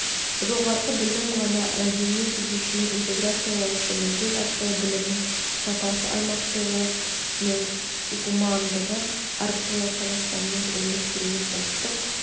жоғары білім ғана мәдениет түзуші интеграциялаушы міндет арқылы білімнің сапасы аумақтығы мен гумандығы арқылы қазақстанның өмір сүруін ұлттық